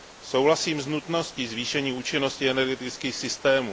Souhlasím s nutností zvýšení účinnosti energetických systémů.